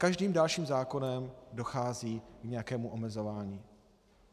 Každým dalším zákonem dochází k nějakému omezování.